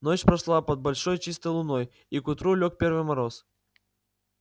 ночь прошла под большой чистой луной и к утру лёг первый мороз